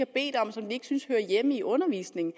bedt om som de ikke synes hører hjemme i undervisningen